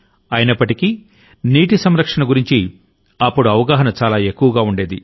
అయినప్పటికీనీటి సంరక్షణ గురించిఅప్పుడుఅవగాహన చాలా ఎక్కువగా ఉండేది